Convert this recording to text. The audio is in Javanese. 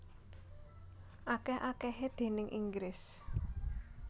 Akèh akèhé déning Inggris